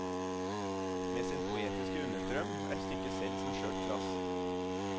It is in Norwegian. Med sin poetiske understrøm er stykket selv som skjørt glass.